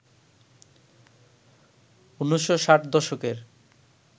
১৯৬০ দশকের